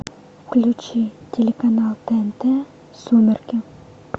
включи телеканал тнт сумерки